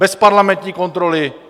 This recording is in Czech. Bez parlamentní kontroly.